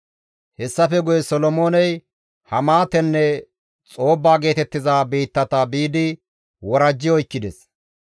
Hessafe guye Solomooney Hamaatenne Xoobba geetettiza biittata biidi worajji oykkides.